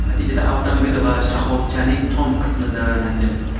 Natijada avtomobil va shoxobchaning tom qismi zararlangan.